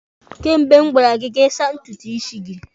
Kemgbe m gwara gị ka ị saa ntutu isi gị!